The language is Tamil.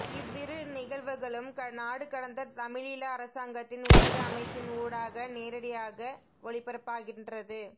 இவ்விரு நிகழ்வுகளும் நாடுகடந்த தமிழீழ அரசாங்கத்தின் ஊடக அமைச்சின் ஊடாக நேரடியாக ஒளிபரப்பாகின்றது